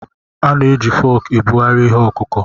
A na-eji fọọkụ ebugharị ihe ọkụkụ̀.